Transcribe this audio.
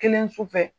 Kelen su fɛ